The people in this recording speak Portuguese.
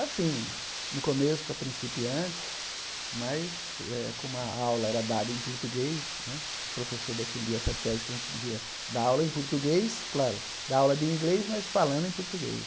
Assim, no começo para principiantes, mas eh como a aula era dada em português, né, o professor defendia essa tese que a gente devia dar aula em português, claro, dar aula de inglês, mas falando em português.